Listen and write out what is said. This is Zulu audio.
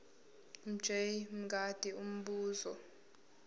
mj mngadi umbuzo